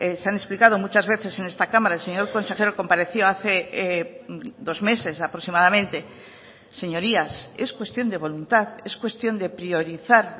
se han explicado muchas veces en esta cámara el señor consejero compareció hace dos meses aproximadamente señorías es cuestión de voluntad es cuestión de priorizar